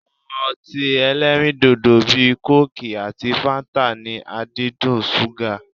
Awọn ọtí ẹlẹ́rindòdò bíi kóòkì àti fáńtà ní àdídùn ṣúgà.